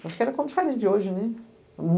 Porque era como diferente de hoje, né?